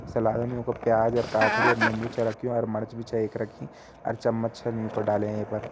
सलाद मा युकां प्याज काखड़ी अर निम्बु छा रखयूं ार मर्च भी छा एक रखीं अर चम्मच छन यूंका डाल्यां ये पर।